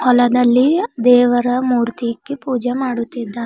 ಹೊಲದಲ್ಲಿ ದೇವರ ಮೂರ್ತಿ ಇಕ್ಕಿ ಪೂಜೆ ಮಾಡುತ್ತಿದ್ದಾರೆ.